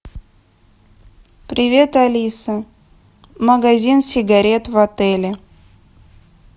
привет алиса магазин сигарет в отеле